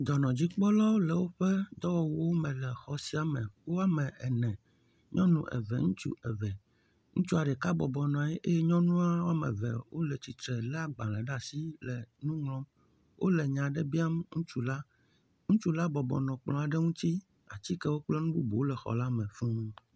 Dɔnɔdzikpɔlawo le woƒe dɔwɔwuwo me le xɔ sia me. Woame ene, nyɔnu eve, ŋutsu eve. Ŋutsua ɖeka bɔbɔ nɔ anyi eye nyɔnua woame eve wole tsitre lé agbalẽ ɖe asi le nu ŋlɔm, wole nya aɖe biam ŋutsu la, ŋutsu la bɔbɔ nɔ kplɔ aɖe ŋuti, atikewo kple nu bubuwo le xɔ la me fuu.